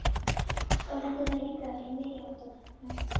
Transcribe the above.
Oft lentu þær líka í meiri háttar lestarslysum.